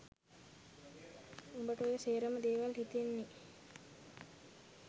උබට ඔය සේරම දේවල් හිතෙන්නේ